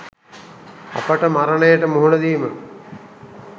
අපට මරණයට මුහුණ දීම